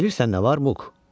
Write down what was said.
Bilirsən nə var, Muk?